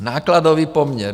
Nákladový poměr.